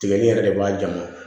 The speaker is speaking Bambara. Tigɛli yɛrɛ de b'a ja ma